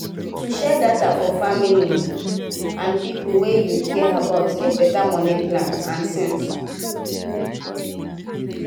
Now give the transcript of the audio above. to share data for family data for family and people wey you care about need better money plan and sense.